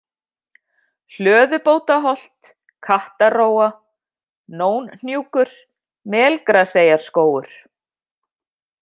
Hlöðubótaholt, Kattarrófa, Nónhnjúkur, Melgraseyarskógur